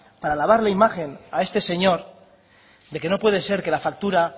para lavar la imagen a este señor de que no puede ser que la factura